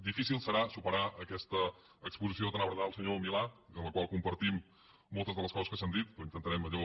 difícil serà superar aquesta exposició tan abrandada del senyor milà i de la qual compartim moltes de les coses que s’han dit però intentarem allò